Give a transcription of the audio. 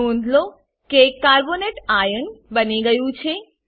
નોંધ લો કે કાર્બોનેટ આઇઓએન કાર્બોનેટ આયન સીઓ32 બની ગયું છે